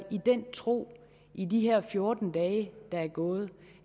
den tro i de her fjorten dage der er gået